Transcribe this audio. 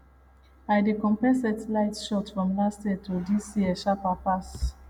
i dey compare satellite shots from last year to this year sharper pass